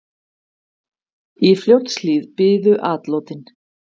Í Fljótshlíð biðu atlotin.